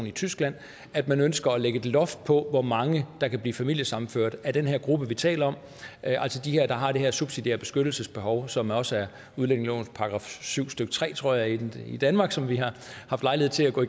i tyskland at man ønsker at lægge et loft på hvor mange der kan blive familiesammenført af den her gruppe vi taler om altså de her der har det her subsidiære beskyttelsesbehov som også er udlændingelovens § syv stykke tre tror jeg i danmark som vi har haft lejlighed til at gå